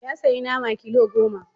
Ya sayi nama kilo goma.